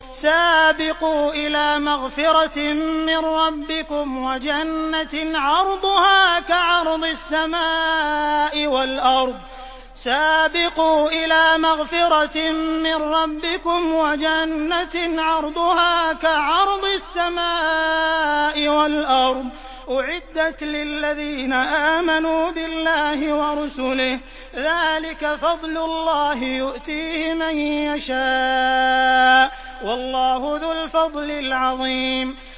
سَابِقُوا إِلَىٰ مَغْفِرَةٍ مِّن رَّبِّكُمْ وَجَنَّةٍ عَرْضُهَا كَعَرْضِ السَّمَاءِ وَالْأَرْضِ أُعِدَّتْ لِلَّذِينَ آمَنُوا بِاللَّهِ وَرُسُلِهِ ۚ ذَٰلِكَ فَضْلُ اللَّهِ يُؤْتِيهِ مَن يَشَاءُ ۚ وَاللَّهُ ذُو الْفَضْلِ الْعَظِيمِ